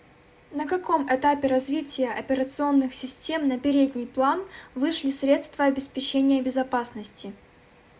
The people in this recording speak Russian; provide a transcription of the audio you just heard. на каком этапе развития операционных систем на передний план вышли средства обеспечения безопасности